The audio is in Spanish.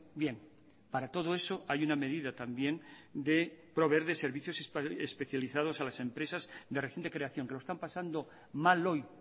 bien para todo eso hay una medida también de proveer de servicios especializados a las empresas de reciente creación que lo están pasando mal hoy